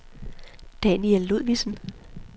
Daniel Ludvigsen